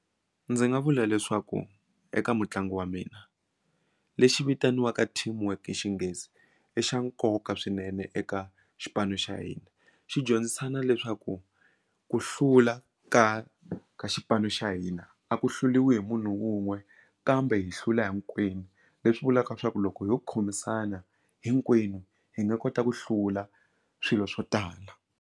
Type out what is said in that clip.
Ndzi nga vula leswaku eka mutlangi wa mina lexi vitaniwaka team work xinghezi i xa nkoka swinene eka xipano xa hina xi dyondzisana leswaku ku hlula ka ka xipano xa hina a ku hluliwi hi munhu wun'we kambe hi hlula hinkwenu leswi vulaka leswaku loko ho khomisana hinkwenu hi nga kota ku hlula swilo swo tala.